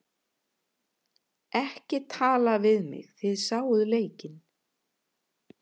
Ekki tala við mig, þið sáuð leikinn.